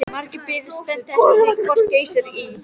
Margir biðu spenntir eftir því hvort Geysir í